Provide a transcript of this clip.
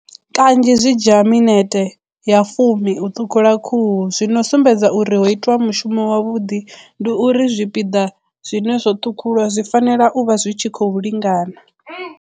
Kanzhi zwi dzhia minete ya fumi u ṱhukhula khuhu zwi no sumbedza uri ho itwa mushumo wavhuḓi ndi uri zwipiḓa zwine zwoṱhukhuwa zwi fanela u vha zwi tshi khou lingana.